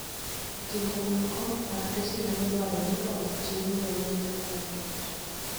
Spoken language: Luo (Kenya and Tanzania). E kinde moko, lakteche nyalo dwarore ni otimie nonro matut.